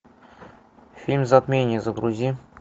фильм затмение загрузи